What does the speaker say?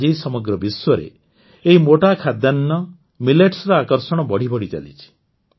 ଆଜି ସମଗ୍ର ବିଶ୍ୱରେ ଏହି ମୋଟା ଖାଦ୍ୟାନ୍ନମିଲେଟ୍ସର ଆକର୍ଷଣ ବଢ଼ିବଢ଼ି ଚାଲିଛି